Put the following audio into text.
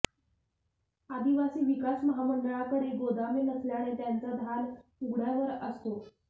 आदिवासी विकास महामंडळाकडे गोदामे नसल्याने त्यांचा धान उघड्यावर असतो